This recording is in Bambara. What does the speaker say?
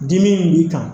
Dimi in b'i kan